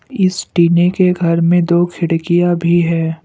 इस टीने के घर में दो खिड़कियां भी हैं।